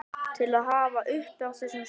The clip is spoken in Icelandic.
til að hafa uppi á þessum stöðum.